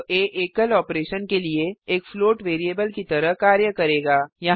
अब आ एकल ऑपरेशन के लिए एक फ्लोट वैरिएबल की तरह कार्य करेगा